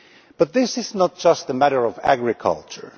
But this is not just a matter of agriculture.